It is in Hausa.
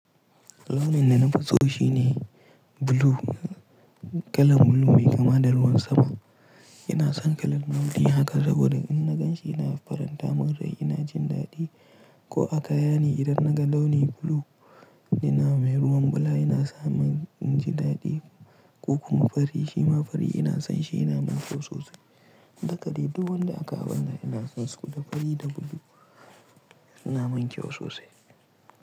Launin da na fi so shi ne blue. Kalar blue mai kama da ruwan sama. Ina son kalar launi haka saboda in na gan shi ina faranta min rai, ina jin daɗi. Ko a kaya ne idan naga launi blue yana mai ruwan bala ina samun jin daɗi ko kuma fari, shima fari ina son shi, ina min kyau sosai. Dakali duk wanda aka haɗa ina son su, dakali da blue suna min kyau sosai.